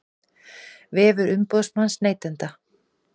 Vefur umboðsmanns neytenda